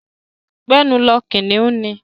Gbẹ́nu lọ! Kìnnìún ni.